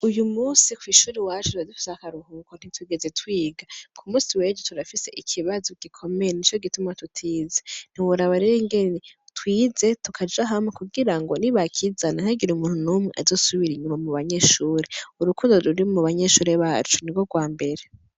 Uyumunsi kwi shuri iwacu dufise akaruhuko ntitwigeze twiga kumunsi wejo turafise ikibazo gikomeye nico gituma tutize ntiworaba rero ukuntu twize kugira ngo nibakizana nti hagire umuntu numwe azosubira inyuma mu banyeshure urukundo ruri mubanyeshure nigwo gwambere.